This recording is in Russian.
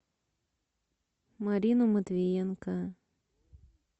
марину матвеенко